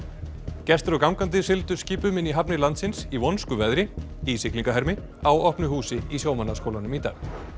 gestir og gangandi sigldu skipum inn í hafnir landsins í vonskuveðri í siglingahermi á opnu húsi í Sjómannaskólanum í dag